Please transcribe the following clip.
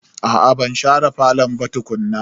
Aa ban share falo ba tukuna.